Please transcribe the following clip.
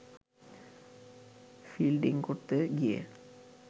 fielding করতে গিয়ে